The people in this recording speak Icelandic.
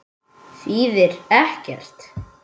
Þýðir ekkert.